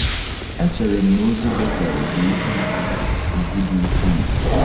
Echere m na ozi Betel bụ ihe ùgwù dị ukwuu.